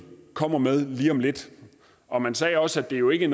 komme med lige om lidt og man sagde også at det jo ikke